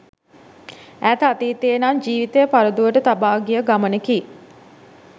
ඈත අතීතයේ නම් ජීවිතය පරදුවට තබා ගිය ගමනකි